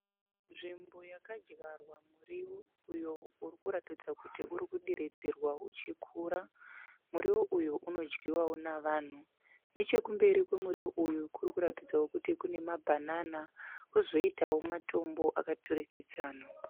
Nzvimbo yakadyarwa murivo uyo uri kuratidza kuti uri kudiridzirwa uchikura. Murivo uyu unodyiwawo navanhu. Nechekumberi kwemurivo uyu kuri kuratidzawo kuti kune mabhanana kwozoitawo matombo akaturikidzana.